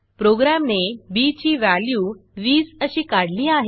प्रोग्रॅमने B ची value 20 अशी काढली आहे